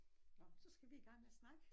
Nåh så skal vi i gang med at snakke